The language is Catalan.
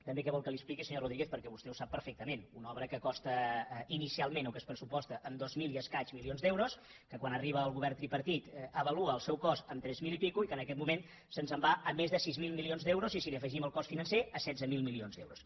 també què vol que li expliqui senyor rodríguez perquè vostè ho sap perfectament una obra que costa inicialment o que es pressuposta en dos mil milions d’euros i escaig que quan arriba el govern tripartit avalua el seu cost en tres mil i escaig i que en aquest moment se’ns en va a més de sis mil milions d’euros i si hi afegim el cost financer a setze mil milions d’euros